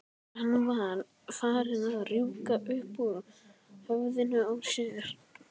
Það var farið að rjúka upp úr höfðinu á þér.